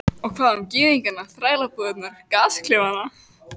Og hvað um gyðingana, þrælabúðirnar, gasklefana?